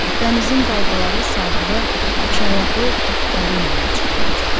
Dənizin dalğaları sahilə iki ayaqlı balinalar çıxardacaq.